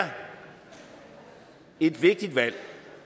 et vigtigt valg